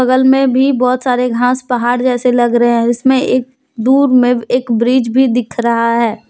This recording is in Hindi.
बगल में भी बहुत सारे घास पहाड़ जैसे लग रहे हैं इसमें एक दूर में एक ब्रिज भी दिख रहा है।